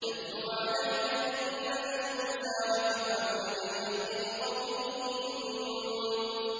نَتْلُو عَلَيْكَ مِن نَّبَإِ مُوسَىٰ وَفِرْعَوْنَ بِالْحَقِّ لِقَوْمٍ يُؤْمِنُونَ